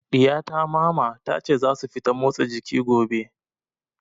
Ɗiya ta Mama, ta ce za su fita motsa jiki gobe.